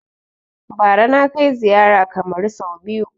Bara na kai ziyara Kamaru sau biyu